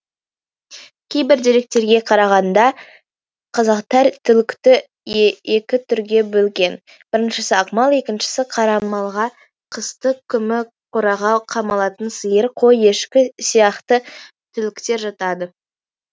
кейбір деректерге қарағанда қазақтар түлікті екі түрге бөлген біріншісі ақмал екіншісі қарамалға қысты күмі қораға қамалатын сиыр қой ешкі сияқты түліктер жатады